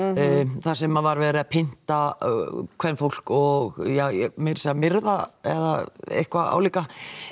þar sem það var verið að pynta kvenfólk og meirað segja myrða eða eitthvað álíka